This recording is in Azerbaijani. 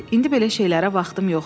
İndi belə şeylərə vaxtım yoxdur.